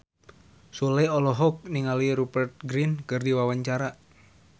Sule olohok ningali Rupert Grin keur diwawancara